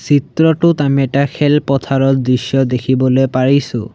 চিত্ৰটোত আমি এটা খেলপথাৰৰ দৃশ্য দেখিবলৈ পাৰিছোঁ।